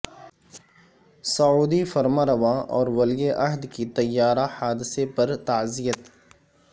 سعودی فرمانروا اور ولی عہد کی طیارہ حادثے پر تعزیت